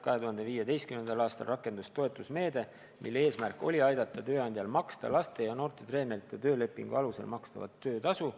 2015. aastal rakendus toetusmeede, mille eesmärk oli aidata tööandjal maksta laste ja noorte treeneritele töölepingu alusel makstavat töötasu.